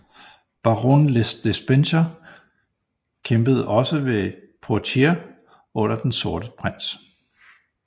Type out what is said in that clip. Baron le Despencer kæmpede også ved Poitier under den sorte prins